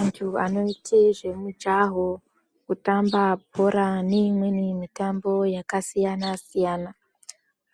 Antu anoite zvemujaho kutamba bhora neimweni mitambo yakasiyanasiyana